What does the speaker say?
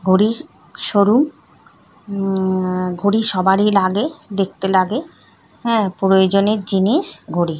ঘড়িরশোরুম উম ঘড়ি সবারই লাগে দেখতে লাগে হ্যাঁ প্রয়োজনের জিনিস ঘড়ি।